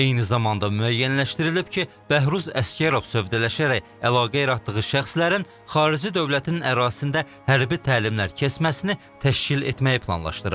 Eyni zamanda müəyyənləşdirilib ki, Bəhruz Əsgərov sövdələşərək əlaqə yaratdığı şəxslərin xarici dövlətin ərazisində hərbi təlimlər keçməsini təşkil etməyi planlaşdırıb.